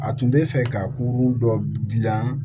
A tun bɛ fɛ ka kurun dɔ dilan